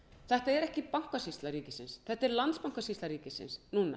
þetta er ekki bankasýsla ríkisins þetta er landsbankasýsla ríkisins núna